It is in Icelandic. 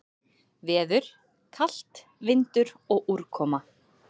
Veður: Kalt, vindur og úrkoma.